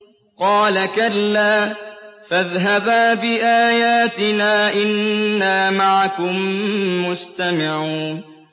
قَالَ كَلَّا ۖ فَاذْهَبَا بِآيَاتِنَا ۖ إِنَّا مَعَكُم مُّسْتَمِعُونَ